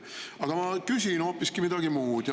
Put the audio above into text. Aga ma küsin hoopiski midagi muud.